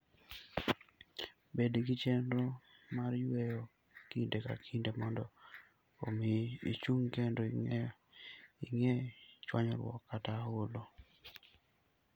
Bed gi chenro mar yueyo kinde ka kinde mondo omi ichung' kendo igeng' chwanyruok kata olo.